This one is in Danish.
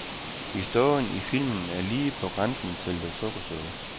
Historien i filmen er lige på grænsen til det sukkersøde.